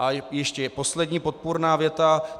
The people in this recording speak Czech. A ještě poslední podpůrná věta.